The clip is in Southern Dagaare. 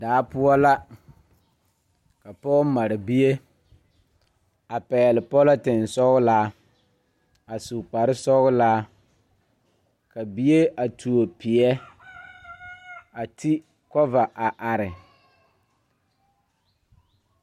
Daa poɔ la ka pɔge mare bie a pɛgle pɔlɔtensɔglaa a su kparesɔglaa ka bie a tuo peɛ a ti kɔva a are.